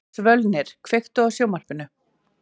Svölnir, kveiktu á sjónvarpinu.